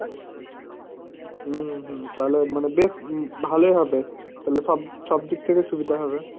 হুঁ হুঁ, তালে মানে বেশ ভালই হবে। তালে শব@ সবদিক ঠেকে সুবিধা হবে।